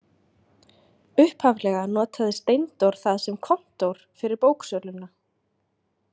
Upphaflega notaði Steindór það sem kontór fyrir bóksöluna.